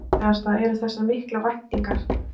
Það hættulegasta eru þessar miklu væntingar.